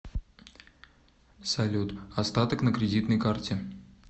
салют остаток на кредитной карте